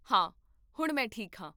ਹਾਂ ਹੁਣ ਮੈਂ ਠੀਕ ਹਾਂ